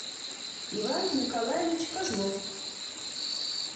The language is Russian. иван николаевич козлов